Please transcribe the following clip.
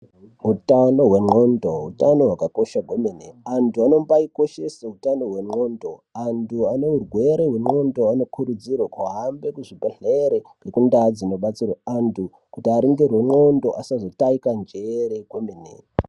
Utano hwendxondo utano hwakakosha kwemene. Antu anombaikoshese utano hwendxondo, antu aneurwere zvendxondo anokurudzirwe kuhambe kuzvibhedhlere nekundaa dzinobatsirwe antu kuti aringirwe ndxondo asazotaika njere kwemene.